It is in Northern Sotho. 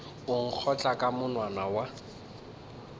o nkgotla ka monwana wa